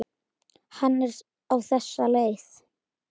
Hann er á þessa leið